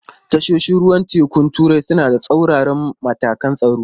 Tashoshin ruwan tekun turai suna da tsauraran matakan tsaro.